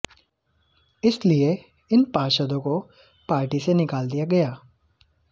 इसलिए इन पार्षदों को पार्टी से निकाल दिया गया